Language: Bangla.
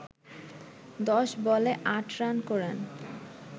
১০ বলে ৮ রান করেন